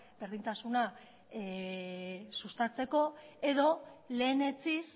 berdintasuna sustatzeko edo lehenetsiz